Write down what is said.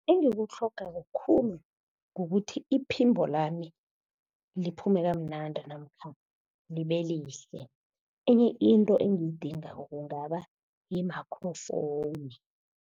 Engikutlhogako khulu, kukuthi iphimbo lami liphume kamnandi namkha libe lihle. Enye into engiyidingako kungaba yi-microphone.